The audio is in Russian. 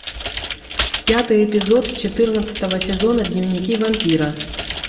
пятый эпизод четырнадцатого сезона дневники вампира